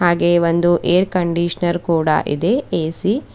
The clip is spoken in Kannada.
ಹಾಗೆ ಒಂದು ಏರ್ ಕಂಡೀಷನರ್ ಕೂಡ ಇದೆ ಎ_ಸಿ .